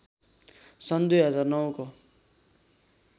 सन २००९ को